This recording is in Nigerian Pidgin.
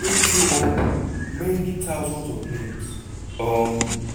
wey throw up many thousands of names. um